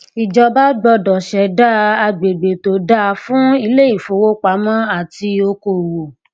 ìjọba gbọdọ ṣẹdá agbègbè tó dáa fún iléìfowopamọ àti okò òwò